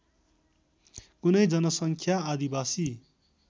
कुनै जनसङ्ख्या आदिवासी